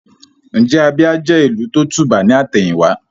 Ǹjẹ́ Abia jẹ́ ìlù tó tùbà ní àtẹ̀yìn wá?